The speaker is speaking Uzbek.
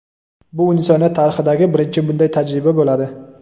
Bu insoniyat tarixidagi birinchi bunday tajriba bo‘ladi.